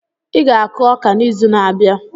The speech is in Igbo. Ị ga-akụ ọka n'izu na-abịa.